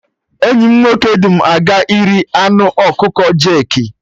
Enyi m nwoke du m aga iri anụ ọkụkọ jerki